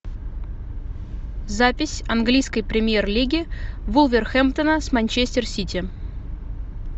запись английской премьер лиги вулверхэмптона с манчестер сити